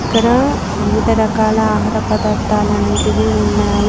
ఇక్కడ వివిధ రకాల ఆహారపదార్థాలనేటివి ఉన్నాయి.